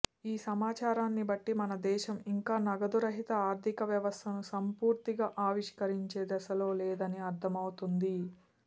ఈ సమాచారాన్నిబట్టి మన దేశం ఇంకా నగదు రహిత ఆర్థిక వ్యవస్థను సంపూర్తిగా ఆవిష్కరించే దశలో లేదని అర్థమవుతోంది